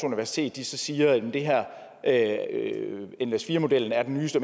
universitet siger at nles4 modellen er den nyeste